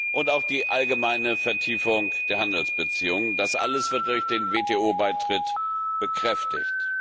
und auch die allgemeine Vertiefung der Handelsbeziehungen das alles wird durch den WTO Beitritt bekräftigt.